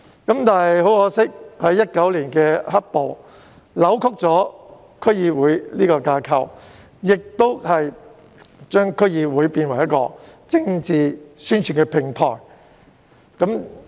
不過，可惜的是 ，2019 年的"黑暴"扭曲了區議會的架構，並將區議會淪為政治宣傳的平台。